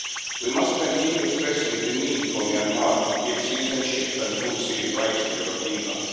We must continue stressing the need for Myanmar to give citizenship and full civil rights to the Rohingya.